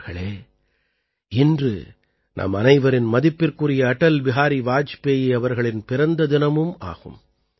நண்பர்களே இன்று நம் அனைவரின் மதிப்பிற்குரிய அடல் பிஹாரி வாஜ்பேயி அவர்களின் பிறந்த தினமும் ஆகும்